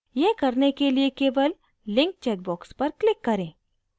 यह करने के लिए केवल link check box पर click करें